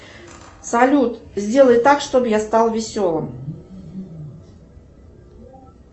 салют сделай так чтобы я стал веселым